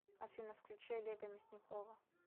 афина включи олега мясникова